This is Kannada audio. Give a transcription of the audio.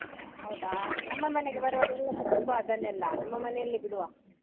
ಹೌದಾ? ನಮ್ಮ ಮನೆಗೆ ಎಲ್ಲ ತಕೊಂಡ್ಬಾ ಅದನ್ನೆಲ್ಲ ನಮ್ಮ ಮನೆಯಲ್ಲೆ ಬಿಡುವ.